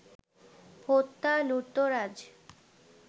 হত্যা, লুটতরাজ